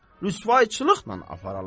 Rüsvayçılıqla aparalar?